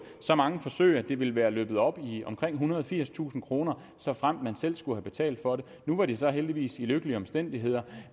så mange forsøg at det ville være løbet op i omkring ethundrede og firstusind kr såfremt de selv skulle have betalt for dem nu var de så heldigvis i lykkelige omstændigheder